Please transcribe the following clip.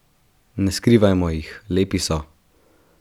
Ne skrivajmo jih, lepi so!